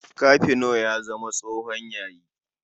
Kafino ya zama tsohon yayi.